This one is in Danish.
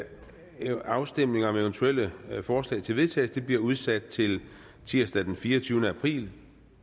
afstemning om eventuelle forslag til vedtagelse bliver udsat til tirsdag den fireogtyvende april to